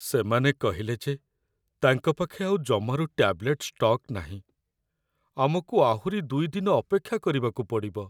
ସେମାନେ କହିଲେ ଯେ ତାଙ୍କ ପାଖେ ଆଉ ଜମାରୁ ଟ୍ୟାବଲେଟ୍ ଷ୍ଟକ୍ ନାହିଁ । ଆମକୁ ଆହୁରି ୨ ଦିନ ଅପେକ୍ଷା କରିବାକୁ ପଡ଼ିବ ।